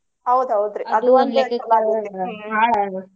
ಹೌದ ಹೌದ್ರಿ ಅದು ಒಂದ ರೀತಿ ಚಲೊ ಆಗೇತಿ .